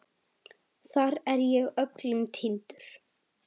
Þar er ég öllum týndur.